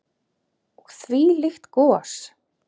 Og þvílíkt gos.